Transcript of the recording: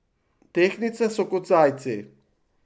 Tehtnice so kot zajci.